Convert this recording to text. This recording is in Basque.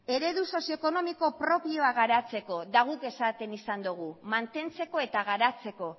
eredu sozio ekonomiko propioa garatzeko eta guk esaten izan dugu mantentzeko eta garatzeko